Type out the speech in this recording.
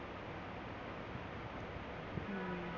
हम्म